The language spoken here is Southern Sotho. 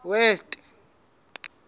west